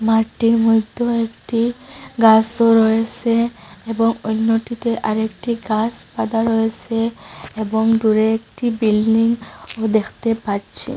মাটটির মদ্যেও একটি গাসও রয়েসে এবং অন্যটিতে আরেকটি গাস বাদা রয়েসে এবং দূরে একটি বিল্ডিং ও দেখতে পাচ্ছি।